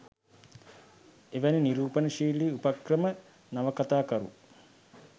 එවැනි නිරූපණශීලී උපක්‍රම නවකතාකරු